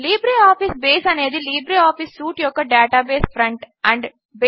LibreOffice base అనేది LibreOffice suite యొక్క database front end